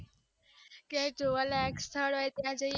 ક્યાંક જોવા લાયક સ્થળ હોઈ ત્યાં જઈએ.